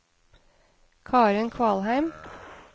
Karen Kvalheim